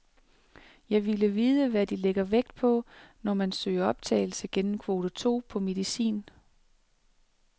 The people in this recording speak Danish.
Jeg ville vide, hvad de lægger vægt på, når man søger optagelse gennem kvote to på medicin.